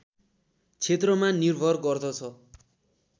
क्षेत्रमा निर्भर गर्दछ